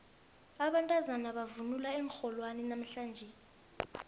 abantazana bavunule iinrholwana namhlanje